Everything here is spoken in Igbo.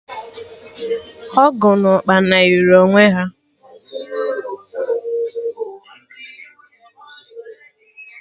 Ogwu na Ukpana yiri onwe ha